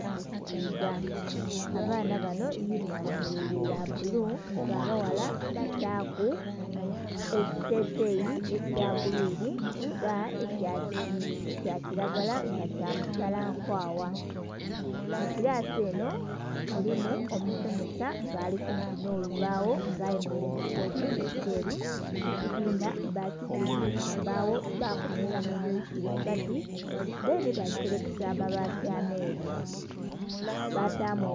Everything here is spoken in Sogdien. okusiga, abaana banho yinhifoomo yaibwe yabbulu nga abaghala bataku ekiteteyi ekya gulwiinhi oba ekya kiragala nga kya masalankwagha. Mukirasi enho mulimu omusomesa nga alikumpi nholubagho nga ayemerere mukiteteyi kyeru, ekyibinha bakizimbisa mbagho bakomereramu emiti ghagati dhenhi baserekesa abaati amelu batamu.....